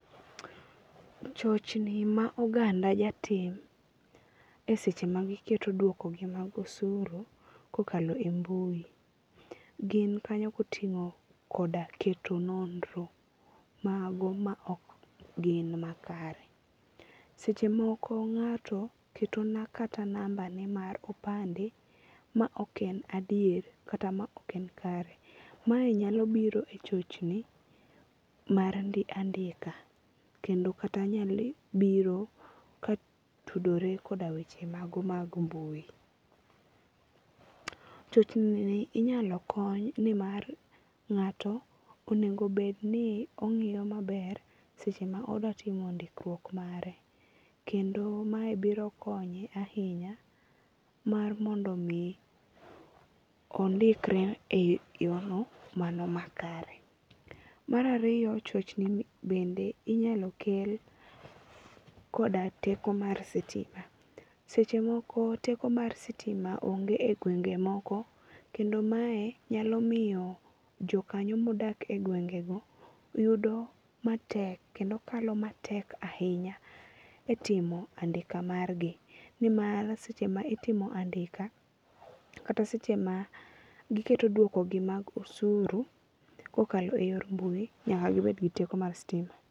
Chochni ma oganda ja tim e seche ma giketo duoko gi mag osuru kokalo e mbui gin kanyo koting'o koda keto nonro mago ma ok gin makare. Seche moko ng'ato keto kata namba ne mar opande ma ok en adier kata ma ok en kare. Mae nyalo biro e chochni mar andika kendo kata nyalo biro ka tudore koda weche mago mag mbui. Chchni ni inyalo kony ni mar ng'ato onego bed ni ong'iyo maber seche ma odwa timo ndikruok mare. Kendo mae biro konye ahinya mar mondo mi ondikre e yo no mano ma kare. Mar ariyo chochni bende inyalo kel koda teko mar sitima. Seche moko teko mar sitima onge e gwenge moko kend mae nyalo miyo jokanyo modak e gwenge go yudo matek kendo kalo matek ahinya e timo andika margi. Ni mar seche ma itimo andika kata seche ma giketo dwoko gi mag osuru kokalo e yor mbui nyaka gibed gi teko mar sitima.